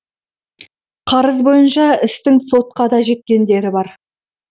қарыз бойынша істің сотқа да жеткендері бар